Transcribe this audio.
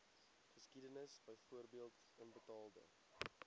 geskiedenis byvoorbeeld onbetaalde